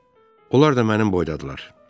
Onlar da mənim boydadırlar.